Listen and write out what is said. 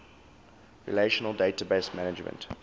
relational database management